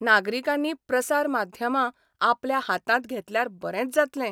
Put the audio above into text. नागरिकांनी प्रसार माध्यमां आपल्या हातांत घेतल्यार बरेंच जातलें.